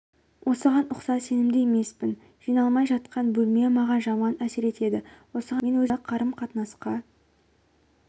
осыған ұқсас сенімді емеспін жиналмай жатқан бөлме маған жаман әсер етеді осыған ұқсас мен өзімді қарым-қатынасқа